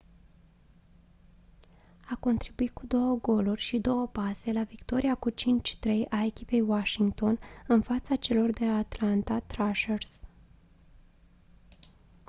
a contribuit cu 2 goluri și 2 pase la victoria cu 5-3 a echipei washington în fața celor de la atlanta thrashers